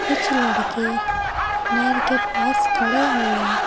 कुछ लड़के नहर के पास खड़े हुए--